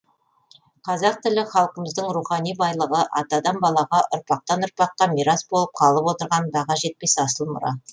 қазақ тілі халқымыздың рухани байлығы атадан балаға ұрпақтан ұрпаққа мирас болып қалып отырған баға жетпес асыл мұра